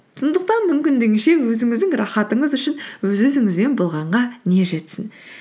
сондықтан мүмкіндігінше өзіңіздің рахатыңыз үшін өз өзіңізбен болғанға не жетсің